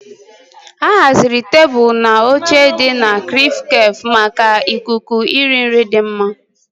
A haziri tebụl na oche dị na "CrispCafe" maka ikuku iri nri dị mma.